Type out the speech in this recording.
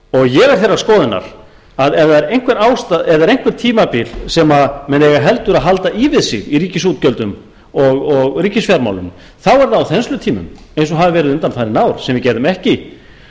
ég er þeirrar skoðunar að ef það er eitthvert tímabil sem menn eiga heldur að halda í við sig í ríkisútgjöldum og ríkisfjármálum þá er það á þenslutímum eins og hafa verið undanfarin ár sem við gerðum ekki